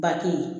Ba te yen